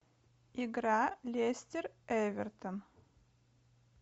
игра лестер эвертон